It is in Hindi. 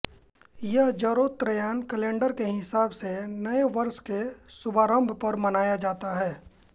यह जरोस्त्रेयन कैलेंडर के हिसाब से नए वर्ष के शुभारंभ पर मनाया जाता है